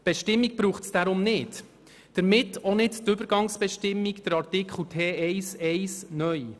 Deshalb braucht es diese Bestimmung nicht, und somit auch nicht die Übergangsbestimmung, Artikel T1-1 (neu).